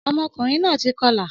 Ọmọkùnrin náà ti kọlà